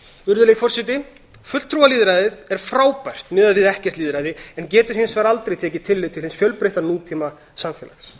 virðulegi forseti fulltrúalýðræðið er frábært miðað við ekkert lýðræði en getur hins vegar aldrei tekið tillit til hins fjölbreytta nútímasamfélags það er